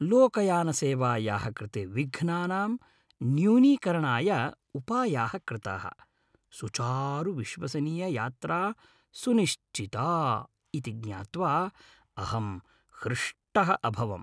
लोकयानसेवायाः कृते विघ्नानां न्यूनीकरणाय उपायाः कृताः, सुचारुविश्वसनीययात्रा सुनिश्चिता इति ज्ञात्वा अहं हृष्टः अभवम् ।